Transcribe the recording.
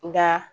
Nka